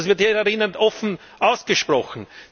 Und das wird hier offen ausgesprochen.